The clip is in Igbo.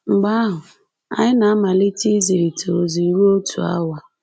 Mgbe ahụ, anyị na-amalite izirịta ozi ruo otu awa.